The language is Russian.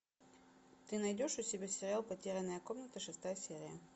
ты найдешь у себя сериал потерянная комната шестая серия